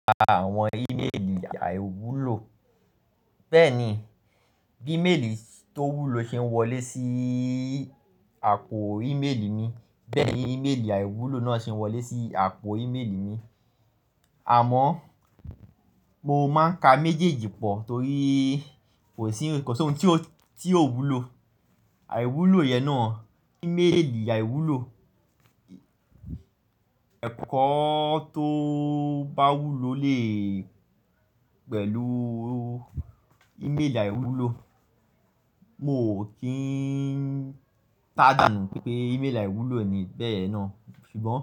Àwọn ìméèlì àìwúlò. Bẹ́ẹ̀ ni bí ìméèlì tó wúlò ṣe ń wọlé sí àpò ìméèlì mi, bẹ́ẹ̀ ni ìméèlì àìwúlò náà ṣe ń wọlé sí àpò ìméèlì mi. Àmọ́ mo máa ń ka méjèèjì pọ̀ torí kò sí ikan ko si oun tí ó ti ò wúlò. Àìwúlò yẹn náà, ìméèlì àìwúlò. Ẹ̀kọ́ tó bá wúlò lè pẹ̀lú ìméèlì àìwúlò. Mo ò kí ń gbádùn pé ìmélà ìwúlò ni bẹ́ẹ̀ náà ṣùgbọ́n.